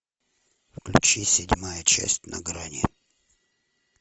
включи седьмая часть на грани